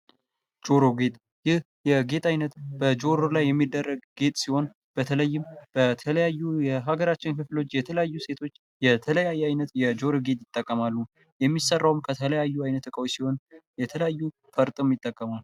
ጆሮ ጌጥ ይህ የጌጥ ዓይነት በጆሮ ላይ የሚደረግ ጌጥ ሲሆን ፤ በተለይም በተለያዩ የሀገራችን ክፍሎች የተለያዩ ሴቶች የተለያየ ዓይነት የ ጆሮ ጌጥ ይጠቀማሉ። የሚሠራውን ከተለያዩ አይነት እቃዎች ሲሆን፤ የተለያዩ ፈርጠም ይጠቀማሉ።